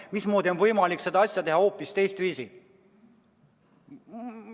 Mismoodi on võimalik seda asja teha hoopis teistviisi?